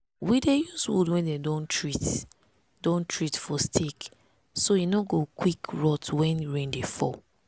we dey use wood wey dem don treat don treat for stake so e no go quick rot when rain dey fall.